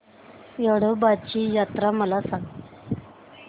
येडोबाची यात्रा मला सांग